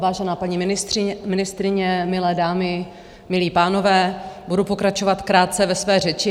Vážená paní ministryně, milé dámy, milí pánové, budu pokračovat krátce ve své řeči.